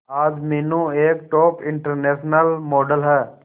आज मीनू एक top international model है